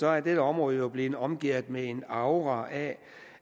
er dette område jo blevet omgærdet med en aura af